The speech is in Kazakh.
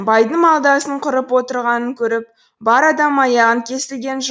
байдың малдасын құрып отырғанын көріп бар адам аяғын кесілген